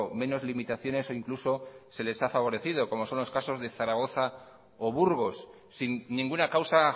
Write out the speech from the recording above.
menos limitaciones o incluso se les ha favorecido como son los casos de zaragoza o burgos sin ninguna causa